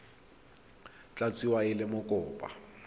tla tsewa e le mokopa